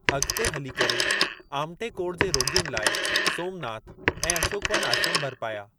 अॻिते हली करे आमटे कोड़ जे रोॻियुनि लाइ सोमनाथ ऐं अशोकवन आश्रम बर्पाया।